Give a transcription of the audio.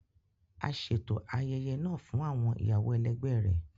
a ṣeto ayẹyẹ náà fún awọn ìyàwó ẹlẹgbẹ rẹ